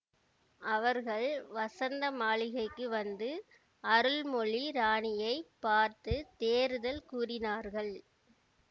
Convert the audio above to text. அவர்கள் வசந்த மாளிகைக்கு வந்து அருள்மொழி ராணியை பார்த்து தேறுதல் கூறினார்கள்